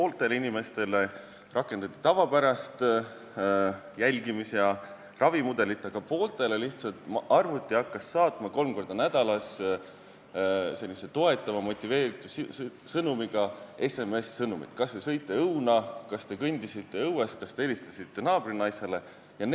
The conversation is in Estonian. Pooltele inimestele rakendati tavapärast jälgimis- ja ravimudelit, aga pooltele hakkas arvuti lihtsalt saatma kolm korda nädalas sellist toetavat ja motiveerivat SMS-sõnumit: kas te sõite õuna, kas te kõndisite õues, kas te helistasite naabrinaisele?